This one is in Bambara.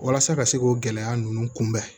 Walasa ka se k'o gɛlɛya ninnu kunbɛn